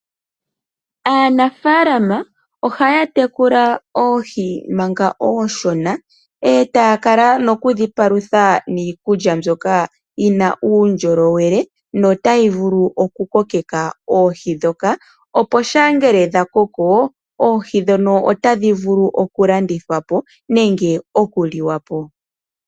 Aanafaalama ohaya tekula oohi manga oonshona etaya kala noku dhi palutha niikulya mbyoka yina mbyoka yina uundjolowele no tayi vulu oku kokeka oohi ndhoka, opo shampa ngele dha koko oohi ndhono otadhivulu oku landithwapo nenge okuliwapo.